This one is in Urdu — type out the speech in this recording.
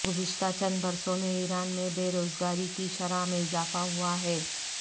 گذشتہ چند برسوں میں ایران میں بے روز گاری کی شرح میں اضافہ ہوا ہے